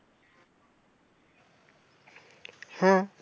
হ্যাঁ।